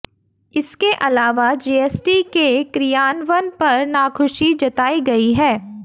इसके अलावा जीएसटी के क्रियान्वन पर नाखुशी जताई गई है